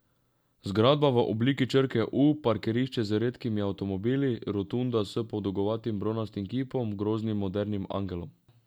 Zgradba v obliki črke U, parkirišče z redkimi avtomobili, rotunda s podolgovatim bronastim kipom, groznim modernim angelom.